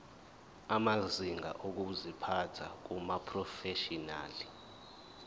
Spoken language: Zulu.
amazinga okuziphatha kumaprofeshinali